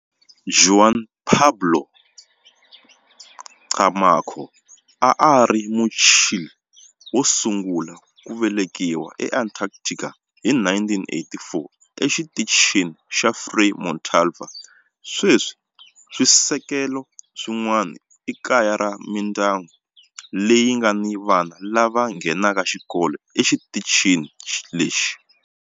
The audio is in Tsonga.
Juan Pablo Camacho a a ri Muchile wo sungula ku velekiwa eAntarctica hi 1984 eXitichini xa Frei Montalva. Sweswi swisekelo swin'wana i kaya ra mindyangu leyi nga ni vana lava nghenaka xikolo exitichini lexi.